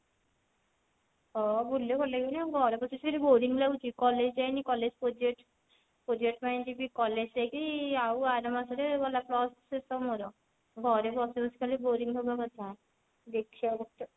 ହଁ ବୁଲିଲେ ଭଲ ଲାଗିବନି ଆଉ ଘରେ ବସିକି ସେଠି boring ଲାଗୁଛି college ଯାଇନି college project project ପାଇଁ କି ଯିବି college ସେଇଠି ଆଉ ଆର ମାସ ରେ ଗଲା ଶେଷ ମୋର ଘରେ ବସି ବସି ଖାଲି boring ହବା କଥା ଦେଖିଆ